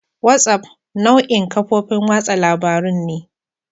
WhatsApp nau'in kafofin watsa labarun ne.